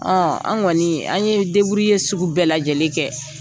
an kɔni an ye sugu bɛɛ lajɛlen kɛ.